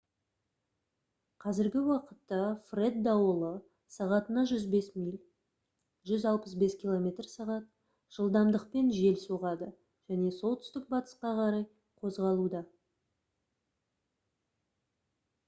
қазіргі уақытта фред дауылы сағатына 105 миль 165 км/сағ жылдамдықпен жел соғады және солтүстік-батысқа қарай қозғалуда